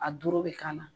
A doro bɛ k'a la